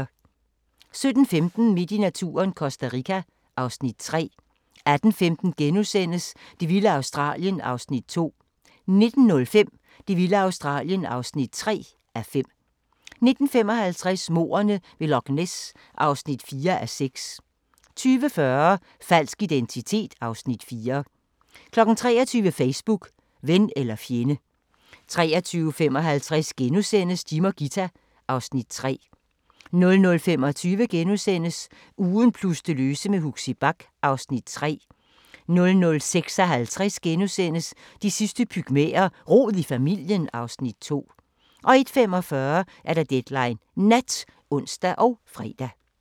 17:15: Midt i naturen – Costa Rica (Afs. 3) 18:15: Det vilde Australien (2:5)* 19:05: Det vilde Australien (3:5) 19:55: Mordene ved Loch Ness (4:6) 20:40: Falsk identitet (Afs. 4) 23:00: Facebook – ven eller fjende 23:55: Jim og Ghita (Afs. 3)* 00:25: Ugen plus det løse med Huxi Bach (Afs. 3)* 00:56: De sidste pygmæer: Rod i familien (Afs. 2)* 01:45: Deadline Nat (ons og fre)